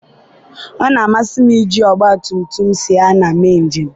ọ na-amasị m iji ọgbatumtum siana mee njem.